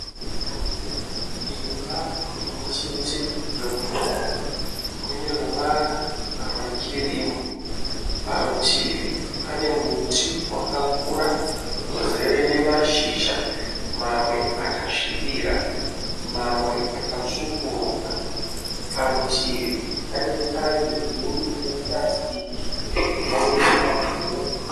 Imba imwe chete yokugara ine ruvara rwekirimu. Parutivi pane muti wakakura uzire nemashizha mamwe akasvibira mamwe akatsvukuruka. Parutivi pane tangi guru repurasitiki rinoisirwa mvura.